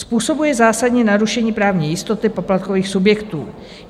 Způsobuje zásadní narušení právní jistoty poplatkových subjektů.